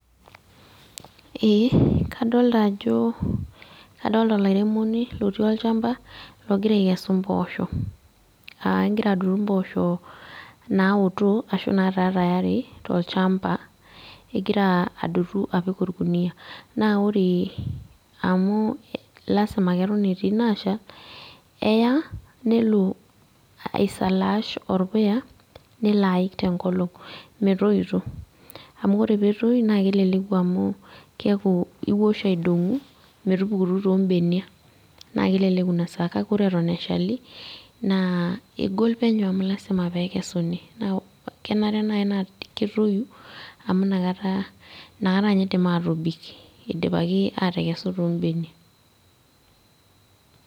Ee, kadolta ajo, kadolta olairemoni lotii olchamba, logira aikesu mpoosho. Ah egira adotu mpoosho naoto, ashu nataa tayari tolchamba. Egira adotu apik orkuniyia. Na ore amu lasima keton etii naashal, eya, nelo aisalaash orpuya, nelo aik tenkolong' metoito. Amu ore petoi, na keleleku amu keeku iwosh aidong'u, metupukutu tobenia. Na keleleku inasaa kake ore eton eshali, naa egol penyo amu lasima pekesuni. Kenare nai naa ketoyu, amu nakata, nakata nye idim atobik idipaki atekesu tobenia.